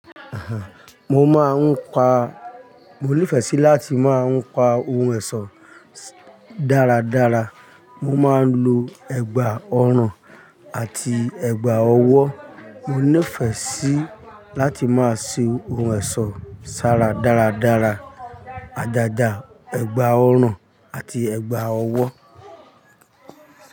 Aha! Mo máa ń pa, mo nífẹ̀ẹ́ sí láti máa ń pa ohun ẹ̀sọ́ dáradára. Mo máa ń lo ẹ̀gbà ọrùn àti ẹ̀gbà ọwọ́. Mo nífẹ̀ẹ́ sí láti máa ṣe ohun ẹ̀sọ́ sára dáradára. Ajaja ẹ̀gbà ọrùn àti ẹ̀gbà ọwọ́